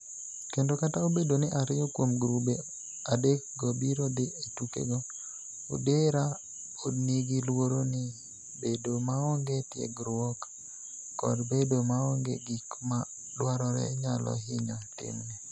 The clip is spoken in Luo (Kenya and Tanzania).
Kendo, kata obedo ni ariyo kuom grube adekgo biro dhi e tukego, Odera pod nigi luoro ni bedo maonge tiegruok kod bedo maonge gik ma dwarore nyalo hinyo timne.